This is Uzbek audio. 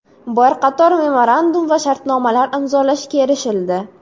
Bir qator memorandum va shartnomalar imzolashga erishildi.